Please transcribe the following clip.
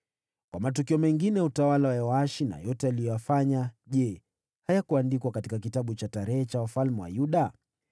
Kwa matukio mengine ya utawala wa Yoashi na yote aliyoyafanya, je, hayakuandikwa katika kitabu cha kumbukumbu za wafalme wa Yuda?